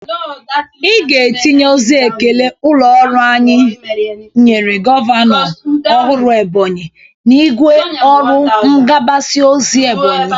Ị ga-etinye ozi ekele ụlọ ọrụ anyị nyere gọvanọ ọhụrụ Ebonyi n'igwe ọrụ ngbasa ozi Ebonyi!